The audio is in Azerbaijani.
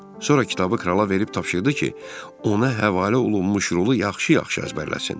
Sonra kitabı krala verib tapşırdı ki, ona həvalə olunmuş rolu yaxşı-yaxşı əzbərləsin.